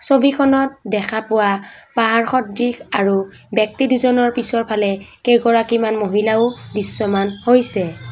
ছবিখনত দেখা পোৱা পাহাৰ সদৃশ আৰু ব্যক্তি দুজনৰ পিছৰফালে কেইগৰাকীমান মহিলাও দৃশ্যমান হৈছে।